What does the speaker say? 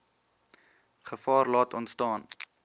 gevaar laat ontstaan